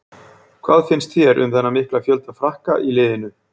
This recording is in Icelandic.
Hvað finnst þér um þennan mikla fjölda Frakka í liðinu?